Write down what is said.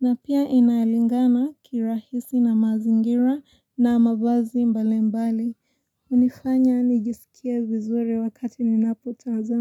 Na pia inalingana kirahisi na mazingira na mavazi mbalimbali. Hunifanya nijisikie vizuri wakati ninapotazama.